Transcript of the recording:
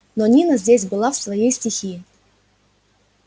но нина здесь была в своей стихии